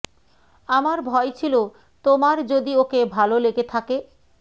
আমার ভয় ছিল তোমার যদি ওকে ভাল লেগে থাকে